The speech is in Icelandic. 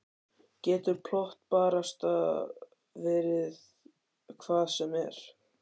Getur plott barasta verið hvað sem er?